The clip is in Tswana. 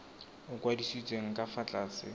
o kwadisitsweng ka fa tlase